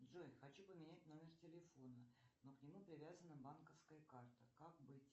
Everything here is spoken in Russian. джой хочу поменять номер телефона но к нему привязана банковская карта как быть